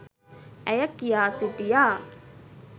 ඇය කියා සිටියා.